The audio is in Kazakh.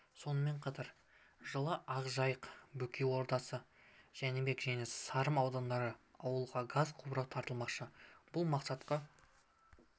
сонымен қатар жылы ақжайық бөкей ордасы жәнібек және сырым аудандарында ауылға газ құбыры тартылмақшы бұл мақсатқа